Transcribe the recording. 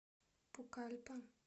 пукальпа